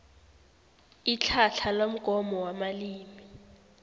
itlhatlha lomgomo wamalimi